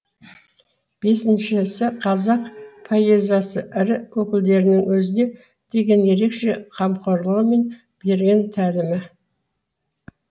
бесіншісі қазақ поэзиясы ірі өкілдерінің өзіне деген ерекше қамқорлығы мен берген тәлімі